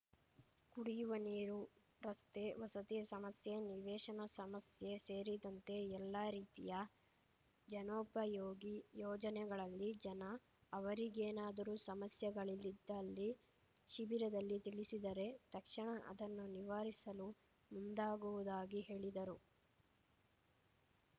ಕುಡಿಯುವ ನೀರು ರಸ್ತೆ ವಸತಿ ಸಮಸ್ಯೆ ನಿವೇಶನ ಸಮಸ್ಯೆ ಸೇರಿದಂತೆ ಎಲ್ಲಾ ರೀತಿಯ ಜನೋಪಯೋಗಿ ಯೋಜನೆಗಳಲ್ಲಿ ಜನ ಅವರಿಗೇನಾದರೂ ಸಮಸ್ಯೆಗಳಿಲಿದ್ದಲ್ಲಿ ಶಿಬಿರದಲ್ಲಿ ತಿಳಿಸಿದರೆ ತಕ್ಷಣ ಅದನ್ನು ನಿವಾರಿಸಲು ಮುಂದಾಗುವುದಾಗಿ ಹೇಳಿದರು